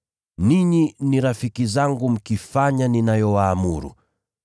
Ninyi ni rafiki zangu mkifanya ninayowaamuru.